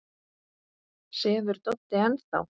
Sefur Doddi enn þá?